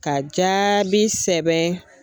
Ka jaabi sɛbɛn